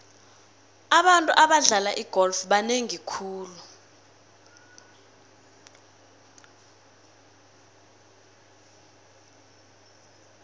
abantu abadlala igolf banengi khulu